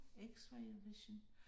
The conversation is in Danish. X-ray vision